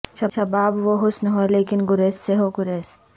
شباب و حسن ہو لیکن گریز سے ہو گریز